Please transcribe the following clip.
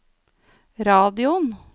radioen